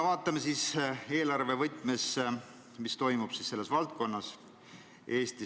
Vaatame eelarve võtmes, mis selles valdkonnas toimub.